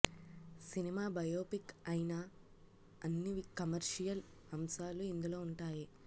cinema biopic అయినా అన్ని commercial అంశాలు ఇందులో ఉంటాయి